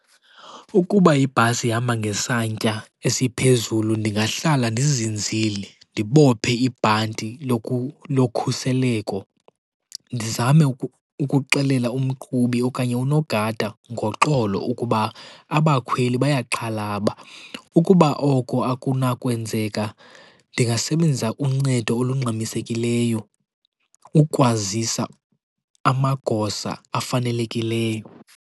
Ukuba ibhasi ihamba ngesantya esiphezulu ndingahlala ndizinzile, ndibophe ibhanti lokhuseleko. Ndizame ukuxelela umqhubi okanye unogada ngoxolo ukuba abakhweli bayaxhalaba. Ukuba oko akunakwenzeka ndingasebenzisa uncedo olungxamisekileyo ukwazisa amagosa afanelekileyo.